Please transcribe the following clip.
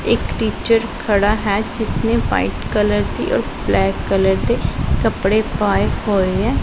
ਇੱਕ ਟੀਚਰ ਖੜਾ ਹੈ ਜਿਸਨੇ ਵਾਈਟ ਕਲਰ ਦੀ ਔਰ ਬਲੈਕ ਕਲਰ ਦੇ ਕੱਪੜੇ ਪਾਏ ਹੋਏ ਐ।